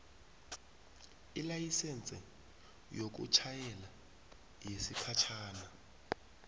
ilayisense yokutjhayela yesikhatjhana